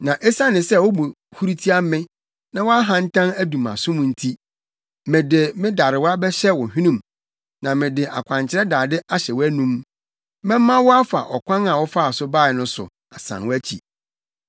Na esiane sɛ wo bo huru tia me na wʼahantan adu mʼasom nti, mede me darewa bɛhyɛ wo hwenem, na mede akwankyerɛ dade ahyɛ wʼanom, mɛma wo afa ɔkwan a wofaa so bae no so asan wʼakyi.